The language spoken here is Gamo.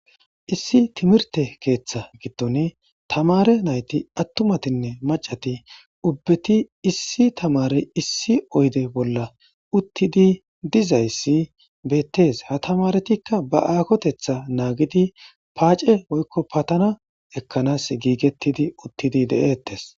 Issi timirte keththa giddon tamare nayti attumatinne maccati ubbeti issi tamarey issi oyidde bolla uttidi dizayissi bettes ha tamaretika ba akkotetha naggidi paace woyikko paatanna ekanasi gigetidi uttidi de'etes.